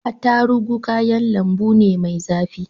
Attarugu kayan lambu ne mai zafi.